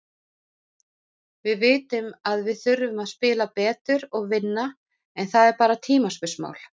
Við vitum að við þurfum að spila betur og vinna, en það er bara tímaspursmál.